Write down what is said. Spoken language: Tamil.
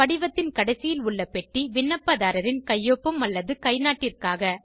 படிவத்தின் கடைசியில் உள்ள பெட்டி விண்ணப்பதாரரின் கையொப்பம் அல்லது கைநாட்டிற்காக